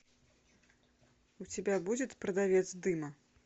у тебя будет продавец дыма